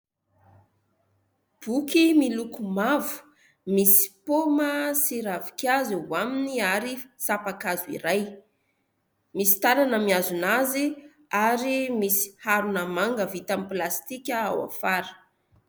Boky miloko mavo. Misy paoma sy ravinkazo eo aminy ary sampankazo iray. Misy tanana mihazona azy ary misy harona manga vita amin'ny plastika ao afara.